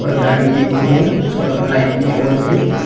गाड़ी भी एक ठो है उसका लाइट भी ऑन है।